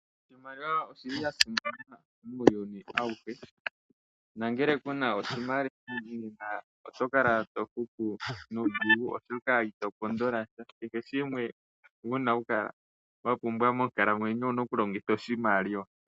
Iimaliwa oya simana muuyuni auhe. Ngele ku n aoshimaliw aoto kala to hupu nuudhigu, oshoka ito pondola sha. Kehe shimwe owa pumbwa monkalamwenyo owu na okulongitha oshimaliwa.